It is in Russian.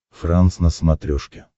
франс на смотрешке